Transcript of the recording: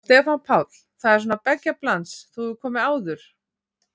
Stefán Páll: Það er svona beggja blands, þú hefur komið áður?